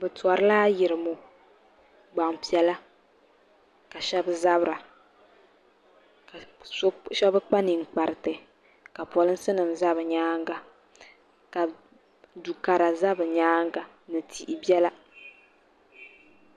Bɛ tɔrila ayirimɔ gbaŋ' piɛla ka shɛba zabira ka shɛba kpa ninkpariti ka polinsi nima za bɛ nyaaga ka du' kara za bɛ nyaaga ni tihi biɛla.